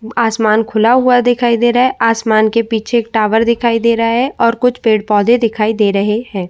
आसमान खुला हुआ दिखाई दे रहा है। आसमान के पीछे एक टावर दिखाई दे रहा है और कुछ पेड़-पौधे दिखाई दे रहे हैं।